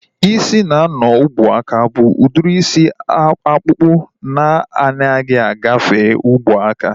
Ịsị na-anọ n'ubuaka bụ udiri isi ọkpụkpụ na anaghị agafe ubuaka